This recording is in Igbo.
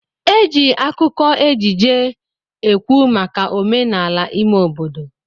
Eji akụkọ ejije ekwu maka omenala ime obodo.